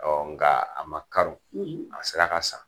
Awɔ nga a ma karo, , a sera ka san